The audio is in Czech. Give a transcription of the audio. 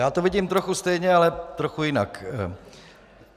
Já to vidím trochu stejně, ale trochu jinak.